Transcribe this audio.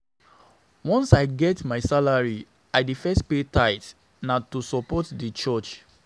Once I get my salary, I dey first pay tithe, na to support di church.